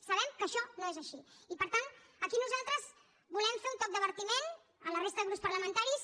sabem que això no és així i per tant aquí nosaltres volem fer un toc d’advertiment a la resta de grups parlamentaris